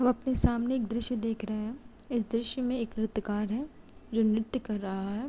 म् अपने सामने एक दृश्य देख रहे हैं। इस दृश्य में एक नृत्यकार है जो नृत्य कर रहा है।